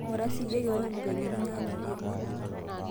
ing'ura siiyie keon vile ninyanyukie